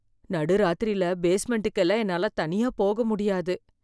நடு ராத்திரில பேஸ்மெண்டுக்கு எல்லாம் என்னால தனியா போக முடியாது